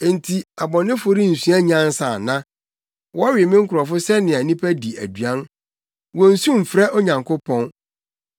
Enti abɔnefo rensua nyansa ana? Wɔwe me nkurɔfo sɛnea nnipa di aduan. Wonnsu mfrɛ Onyankopɔn.